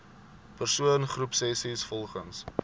persoon groepsessies volgens